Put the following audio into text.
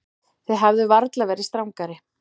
Þið hefðuð varla verið strangari.